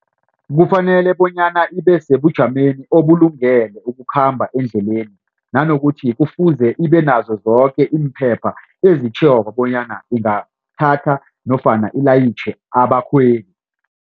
Kufanele bonyana ibe sebujameni obulungele ukukhamba endleleni nanokuthi kufuze ibe nazo zoke imphepha ezitjhoko bonyana ingathatha nofana ilayitjhe abakhweli.